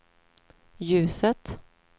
ljuset